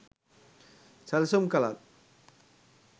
සැලසුම් කලත්